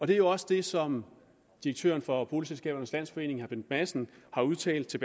det er også det som direktøren for boligselskabernes landsforening bent madsen har udtalt til